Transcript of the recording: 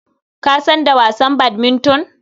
Ka san da wasan badminton?